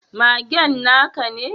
Magen na ka ne?